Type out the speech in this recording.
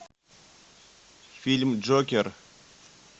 фильм джокер